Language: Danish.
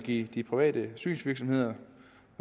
give de private synsvirksomheder